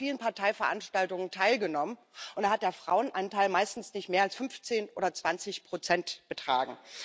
Ich habe an vielen Parteiveranstaltungen teilgenommen, und da hat der Frauenanteil meistens nicht mehr als 15 oder 20 betragen.